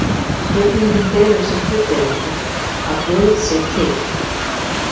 Spurningin felur í sér fullyrðingu: Að guð sé til.